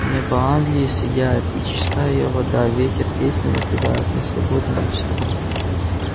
небо англии сияет и чиста её вода ветер песни напевает мы свободны навсегда